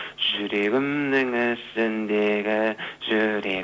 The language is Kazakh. жүрегімнің ішіндегі